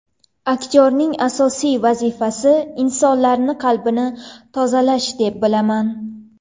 Aktyorlarning asosiy vazifasi insonlarni qalbini davolash deb bilaman.